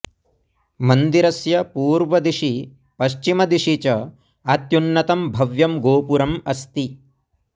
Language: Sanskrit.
मन्दिरस्य पूर्वदिशि पश्चिमदिशि च अत्युन्नतं भव्यं गोपुरम् अस्ति